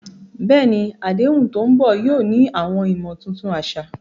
Bẹ́ẹ̀ni, àdéhùn tó ń bọ̀ yóò ní àwọn ìmọ̀ tuntun àṣà.